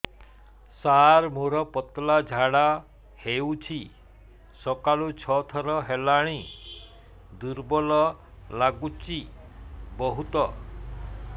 ସାର ମୋର ପତଳା ଝାଡା ହେଉଛି ଆଜି ସକାଳୁ ଛଅ ଥର ହେଲାଣି ଦୁର୍ବଳ ଲାଗୁଚି ବହୁତ